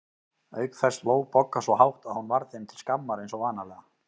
Auk þess hló Bogga svo hátt að hún varð þeim til skammar eins og vanalega.